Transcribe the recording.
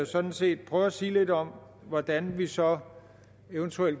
sådan set prøve at sige lidt om hvordan vi så evt